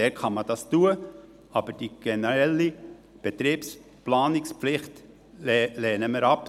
Dort kann man das machen, aber die generelle Betriebsplanungspflicht lehnen wir ab.